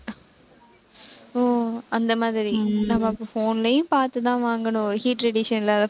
ஓ, அந்த மாதிரி நம்ம phone லயும் பார்த்து தான் வாங்கணும் heat radiation இல்லாத